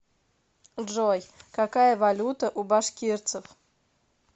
джой какая валюта у башкирцев